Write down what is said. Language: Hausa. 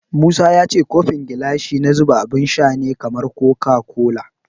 Musa ya ce kofin gilashi na zuba abun sha ne kamar koka kola.